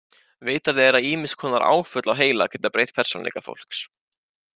Vitað er að ýmis konar áföll á heila geta breytt persónuleika fólks.